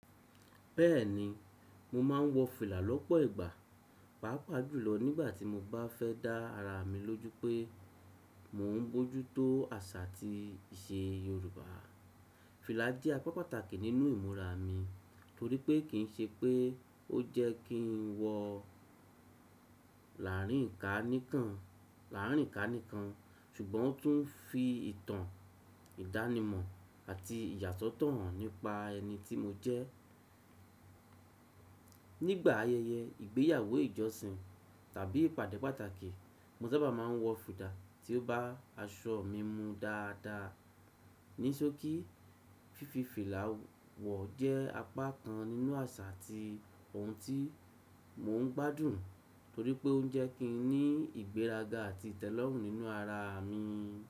Bẹ́ẹ̀ni, mo máa ń wọ fìlà lọ́pọ̀ ìgbà, pàápàá jùlọ nígbà tí mo bá fẹ́ dá ara mi lójú pé mò ń bójú tó àṣà àti ìṣe Yorùbá. Fìlà jẹ́ apá pàtàkì nínú ìmúra mi torí pé kì ń ṣe pé ó jẹ́ kí n wọ láàárín ìkà nìkan, ṣùgbọ́n ó tún fi ìtàn, ìdánimọ̀ àti ìyàsọ́tọ̀ hàn nípa ẹni tí mo jẹ́. Nígbà ayẹyẹ, ìgbéyàwó, ìjọsìn tàbí ìpàdé pàtàkì, mo sábà máa ń wọ fìlà tí ó bá aṣọ mi mu dáadáa. Ní sókí, fífi fìlà wọ̀ jẹ́ apá kan nínú àṣà ti òun tí mò ń gbádùn torí pé ó ń jẹ́ kí n ní ìgbéraga àti ìtẹ́lọ́rùn nínú ara mi.